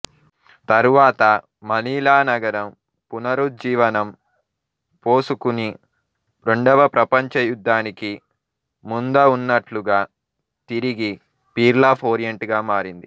తరువాత మనీలా నగరం పునరుజ్జివనం పోసుకుని రెండవప్రపంచ యుద్ధానికి ముంద ఉన్నట్లుగా తిరిగి పీర్ల్ ఆఫ్ ఓరియంట్ గా మారింది